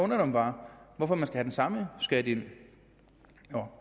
mig bare hvorfor man skal have den samme skat ind